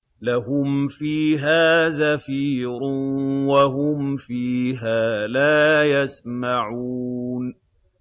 لَهُمْ فِيهَا زَفِيرٌ وَهُمْ فِيهَا لَا يَسْمَعُونَ